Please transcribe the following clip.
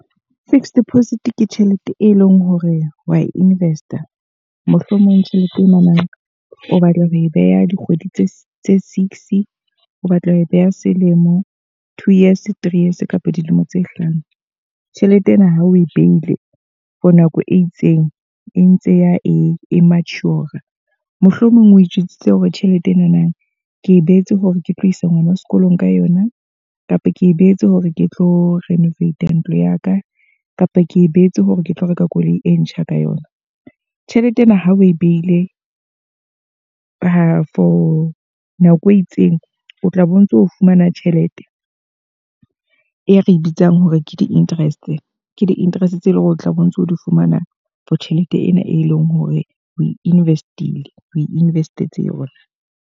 Fixed deposit ke tjhelete e leng hore wa invest-a. Mohlomong tjhelete e na na o batla ho e beha dikgwedi tse six. O batla ho e beha selemo, two years, three years kapa dilemo tse hlano. Tjhelete ena ha o e behile for nako e itseng e ntse ya e mature. Mohlomong o itjwetsitse hore tjhelete enana ke e beetse hore ke tlo isa ngwana sekolong ka yona. Kapa ke e beetse hore ke tlo renovate a ntlo ya ka. Kapa ke e beetse hore ke tlo reka koloi e ntjha ka yona. Tjhelete ena ha o e behile kapo nako e itseng o tla bo ntso fumana tjhelete e re bitsang hore ke di-interest. Ke di-interest tse e leng hore o tla bo ntso di fumana for tjhelete ena, e leng hore o invest-ile. O invest-etse yona.